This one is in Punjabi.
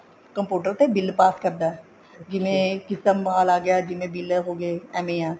computer ਤੇ ਬਿਲ ਪਾਸ ਕਰਦਾ ਜਿਵੇਂ ਕਿਸੇ ਦਾ ਮਾਲ ਆਗਿਆ ਜਿਵੇਂ ਬਿਲ ਹੋਗੇ ਏਵੇਂ ਆ